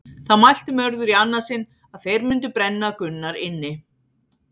Þá mælti Mörður í annað sinn að þeir mundu brenna Gunnar inni.